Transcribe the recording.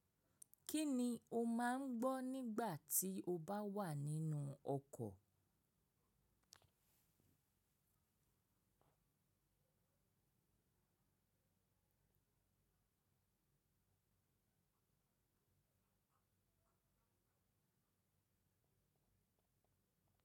Kí ni o máa ń gbọ́ nígbà tí o bá wà nínú ọkọ̀?